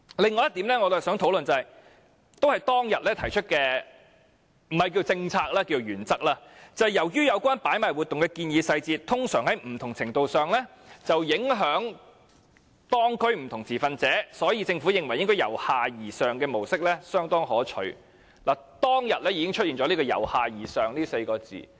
通常在不同程度上影響當區不同持份者，我們認為由下而上的模式相當可取"。當時已經出現了"由下而上"這4個字。